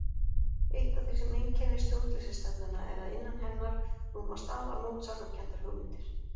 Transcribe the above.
Eitt af því sem einkennir stjórnleysisstefnuna er að innan hennar rúmast afar mótsagnakenndar hugmyndir.